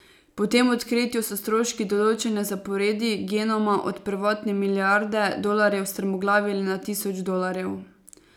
Po tem odkritju so stroški določanja zaporedij genoma od prvotne milijarde dolarjev strmoglavili na tisoč dolarjev.